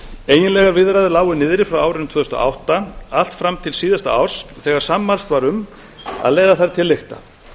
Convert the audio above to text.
eiginlegar viðræður lágu niðri frá árinu tvö þúsund og átta allt fram til síðasta árs þegar sammælst var um að leiða þær til lykta